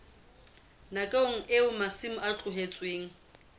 nakong eo masimo a tlohetsweng